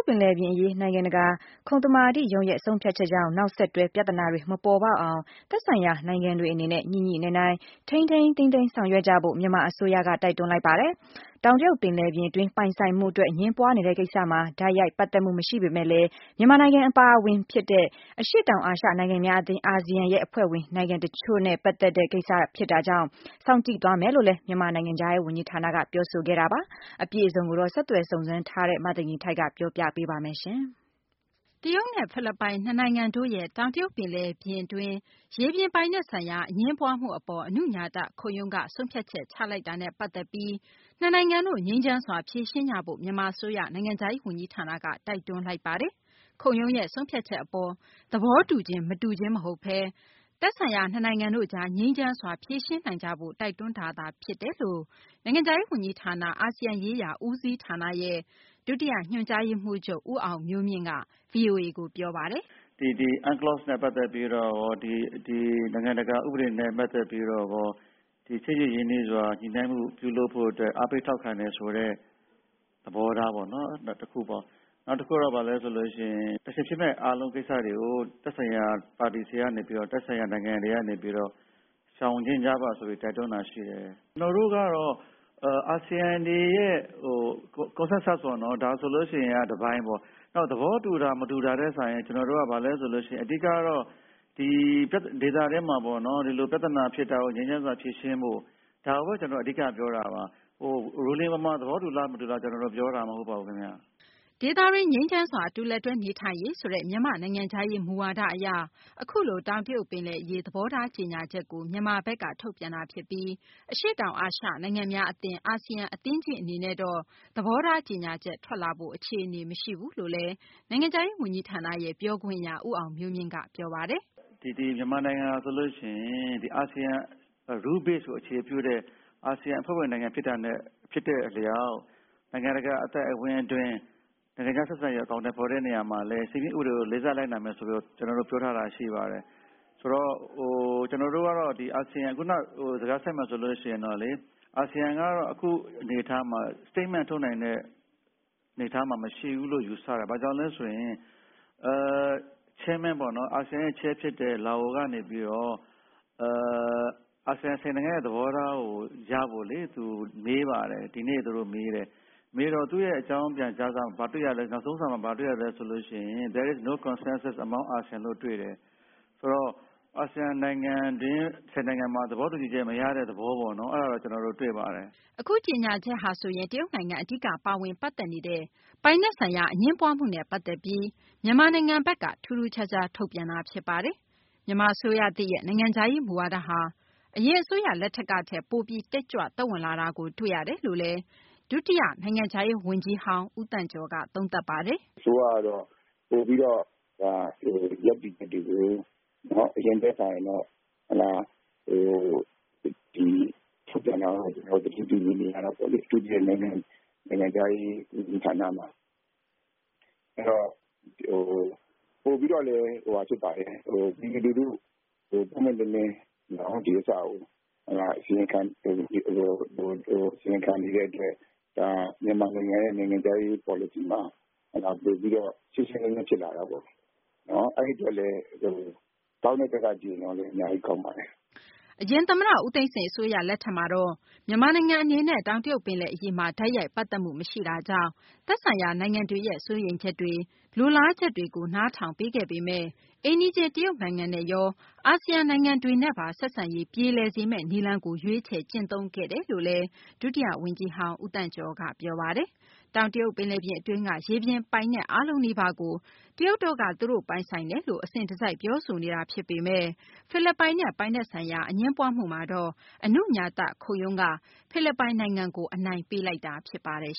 ် ပင်လယ်ပြင်အရေး နိုင်ငံတကာ ခုံသမာဓိရုံးရဲ့ ဆုံးဖြတ်ချက်ကြောင့် နောက်ဆက်တွဲ ပြဿနာတွေ မပေါ်ပေါက်အောင် သက်ဆိုင်ရာ နိုင်ငံတွေအနေနဲ့ ညှိညှိနှိုင်းနှိုင်း ထိန်းသိမ်းဆောင်ရွက်ကြဖို့ မြန်မာအစိုးရက တိုက်တွန်းလိုက်ပါတယ်။ တောင်တရုတ် ပင်လယ်ပြင်အတွင်း ပိုင်ဆိုင်မှုအတွက် အငြင်းပွားနေတဲ့ ကိစ္စမှာ တိုက်ရိုက် ပတ်သက်မှု မရှိပေမဲ့လည်း မြန်မာနိုင်ငံ အပါအဝင် ဖြစ်တဲ့ အရှေ့တောင်အာရှ နိုင်ငံများအသင်း ရဲ့ အဖွဲ့ဝင် နိုင်ငံတချို့နဲ့ ပတ်သက်နေတဲ့ ကိစ္စကိုတော့ စောင့်ကြည့် သွားမယ်လို့လည်း မြန်မာနိုင်ငံခြားရေးဝန်ကြီးဌာနက ပြောဆိုခဲ့တာပါ။ အပြည့်အစုံကိုတော့ ဆက်သွယ်စုံစမ်းထားတဲ့ မသိဂီ ၤထိုက်က ပြောပြပေးမှာ ဖြစ်ပါတယ်။ တရုတ်နဲ့ ဖိလစ်ပိုင် နှစ်နိုင်ငံတို့ရဲ့ တောင်တရုတ် ပင်လယ်ပြင် အတွင်း ရေပြင်ပိုင်နက် ဆိုင်ရာ အငြင်းပွားမှုအပေါ် အနုညာတ ခုံရုံးက ဆုံးဖြတ်ချက် ချလိုက်တဲ့ အပေါ် နှစ်နိုင်ငံတို့ ငြိမ်းချမ်းစွာ ဖြေရှင်းကြဖို့ မြန်မာ အစိုးရ နိုင်ငံခြားရေး ဝန်ကြီးဌာနက တိုက်တွန်းလိုက်ပါတယ်။ ခုံရုံးရဲ့ ဆုံးဖြတ်ချက် အပေါ် သဘောတူခြင်း မတူခြင်း မဟုတ်ဘဲ သက်ဆိုင်ရာ နှစ်နိုင်ငံတို့ကြား ငြိမ်းချမ်းစွာ ဖြေရှင်းနိုင်ကြဖို့ တိုက်တွန်းတာ ဖြစ်တယ်လို့ နိုင်ငံခြားရေး ဝန်ကြီးဌာန အာဆီယံ ရေးရာ ဦးစီးဌာနရဲ့ ဒုတိယ ညွှန်ကြားရေးမှူးချုပ် ဦးအောင်မျိုးမြင့်က ဗွီအိုအေကို ပြောပါတယ်။ “ဒီ UNCLOS နဲ့ပတ်သက်ပြီးတော့ကော နိုင်ငံတကာ ဥပဒေနဲ့ပတ်သက်ပြီးတော့ကော ချစ်ကြည်ရင်းနှီးစွာ ညှိနှိုင်းမှုပြုလုပ်ဖို့အတွက် အားပေးထောက်ခံတယ်ဆိုတဲ့ သဘောထားပေါ့နော် ဒါတခုပေါ့။ နောက်တခုက ဘာလဲဆိုရင် Tension ဖြစ်မယ့် အားလုံးကိစ္စတွေကို သက်ဆိုင်ရာပါတီတွေစီကနေပြီးတော့ သက်ဆိုင်ရာနိုင်ငံတွေကနေပြီးတော့ ရှောင်ကြဉ်ကြပါဆိုပြီးတိုက်တွန်းထားတာရှိတယ်။ ကျနော်တို့ကတော့ အာဆီယံတွေရဲ့ Consensus ပေါ့နော် ဒါဆိုလို့ရှိရင်တပိုင်းပေါ့။ နောက်သဘောတူတာ မတူတာထက်စာရင်ကျနော်တို့က ဘာလဲဆိုရင် အဓိကတော့ ဒီဒေသတွင်းမှာပေါ့နော် ဒီလိုပြဿနာဖြစ်တာကို ငြိမ်းချမ်းစွာဖြေရှင်းဖို့ ဒါကိုပဲ ကျနော်တို့က အဓိကပြောတာပါ။ Ruling ပေါ်မှာ သဘောတူသလားမတူသလားဆိုတာ ကျနော်တို့ ပြောတာမဟုတ်ပါဘူးခင်ဗျ။” ဒေသတွင်း ငြိမ်းချမ်းစွာ အတူလက်တွဲ နေထိုင်ရေးဆိုတဲ့ မြန်မာ့ နိုင်ငံခြားရေး မူဝါဒ အရ အခုလို တောင်တရုတ် ပင်လယ်အရေး သဘောထားကြေညာချက်ကို မြန်မာနိုင်ငံဘက်က ထုတ်ပြန်တာ ဖြစ်ပြီး အရှေ့တောင် အာရှ နိုင်ငံများ အသင်း အာဆီယံ အဖွဲ့ကြီး အနေနဲ့တော့ သဘောထား ကြေညာချက် ထွက်လာဖို့ အခြေအနေ မရှိဘူးလို့လည်း ဦးအောင်မျိုးမြင့်က ဗွီအိုအေကို ပြောပါတယ်။ “ ဒီမြန်မာနိုင်ငံဟာဆိုရင် အာဆီယံ Rule base ကိုအခြေပြုတဲ့ အာဆီယံအဖွဲ့ဝင်နိုင်ငံ ဖြစ်တဲ့အလျောက် နိုင်ငံတကာ အသိုက်အဝန်းအတွင်း နိုင်ငံခြားဆက်ဆံရေးကို အကောင်အထည်ဖော်တဲ့နေရာမှာလည်း စည်းမျဉ်ဥပဒေကို လေးစားလိုက်နာမယ်ဆိုပြီးတော့ ကျနော်တို့ပြောထားတာရှိပါတယ်။ ဆိုတော့ ကျနော်တို့ကတော့ ဒီအာဆီယံ ခုနစကားဆက်မယ်ဆိုရင်တော့လေ အာဆီယံကတော့ အခုအနေအထားမှာ Statement ထုတ်နိုင်တဲ့အနေအထား မရှိဘူးလို့ယူဆတယ်။ ဘာကြောင့်လဲဆိုရင် Chairman ပေါ့နော် အာဆီယံရဲ့ Chairman ဖြစ်တဲ့ Laos ကနေပြီးတော့ အာဆီယံ ၁၀ နိုင်ငံရဲ့သဘောထားကို ရဖို့လေ သူမေးပါတယ် ဒီနေ့သူတို့မေးတယ်။ မေးတော့ သူ့ရဲ့အကြောင်းပြန်ကြားစာ နောက်ဆုံးစာမှာဘာတွေ့ရသလဲဆိုတော့ “There is no consensus among ASEAN” လို့တွေ့တယ်။ ဆိုတော့ အာဆီယံနိုင်ငံအတွင်း ၁၀ နိုင်ငံမှာ သဘောတူချက်မရတဲ့သဘောပေါ့နော် အဲဒါတော့ ကျနော်တို့တွေ့ပါတယ်။” အခု ကြေညာချက်ဟာဆိုရင် တရုတ် နိုင်ငံ အဓိက ပါဝင် ပတ်သက်နေတဲ့ ပိုင်နက်ဆိုင်ရာ အငြင်းပွားမှုနဲ့ ပတ်သက်ပြီး မြန်မာနိုင်ငံဘက်က ထူးထူးခြားခြား ထုတ်ပြန်လိုက်တာပါ။ မြန်မာ အစိုးရသစ်ရဲ့ နိုင်ငံခြားရေး မူဝါဒဟာ အရင် အစိုးရ လက်ထက်ကထက် ပိုပြီး တက်ကြွ သက်ဝင်လာတာကို တွေ့ရတယ်လို့လည်း ဒုတိယ နိုင်ငံခြားရေး ဝန်ကြီး ဦးသန့်ကျော်က သုံးသပ်ပါတယ်။ “အစိုးရကတော့ ပိုပြီးတော့ ရပ်တည်ချက်တွေကို အရင်ထက်စာရင်တော့ ထုတ်ပြန်တာကတော့ ကျနော်တို့ သတိပြုမိနေတာပေါ့လေ အထူးသဖြင့် နိုင်ငံခြားရေးဝန်ကြီးဌာနမှာ ။ အဲဒီ တော့ ပိုပြီးတော့လည်း ပြည်သူလူထုကို ပွင့်ပွင့်လင်းလင်း ဒီဥစ္စာကို အစီရင်ခံနေတဲ့အတွက် ဒါ မြန်မာနိုင်ငံရဲ့ နိုင်ငံခြားရေး policy မှာ ပိုပြီးတော့ ရှင်းရှင်းလင်းလင်းဖြစ်လာတာပေါ့လေ။ အဲဒီအတွက်လည်း ကောင်းတဲ့ဘက်က ကြည့်ရင်တော့လည်း အများကြီးကောင်းပါတယ်။” အရင် သမ္မတ ဦးသိန်းစိန် အစိုးရ လက်ထက်မှာတော့ မြန်မာနိုင်ငံ အနေနဲ့ တောင်တရုတ် ပင်လယ်အရေးမှာ တိုက်ရိုက် ပတ်သက်မှု မရှိတာကြောင့် သက်ဆိုင်ရာ နိုင်ငံတွေရဲ့ စိုးရိမ်ချက်တွေ၊ လိုလားချက်တွေကို နားထောင်ပေးခဲ့ပေမယ့် အိမ်နီးချင်း တရုတ်နိုင်ငံနဲ့ ရော အာဆီယံ နိုင်ငံတွေနဲ့ပါ ဆက်ဆံရေး ပြေလည်စေမယ့် နည်းလမ်းကို ရွေးချယ် ကျင့်သုံးခဲ့တယ်လို့လည်း ဒုတိယ ဝန်ကြီးဟောင်း ဦးသန့်ကျော်က ပြောပါတယ်။ တောင်တရုတ် ပင်လယ်ပြင် အတွင်းက ရေပြင်ပိုင်နက် အားလုံးနီးပါးကို တရုတ်တို့က သူတို့ ပိုင်ဆိုင်တယ်လို့ အစဉ်တစိုက် ပြောဆိုနေတာ ဖြစ်ပေမယ့် ဖိလစ်ပိုင်နဲ့ ပိုင်နက်ဆိုင်ရာ အငြင်းပွားမှုမှာတော့ အနုညာတ ခုံရုံးက ဖိလစ်ပိုင် နိုင်ငံကို အနိုင်ပေးလိုက်တာ ဖြစ်ပါတယ်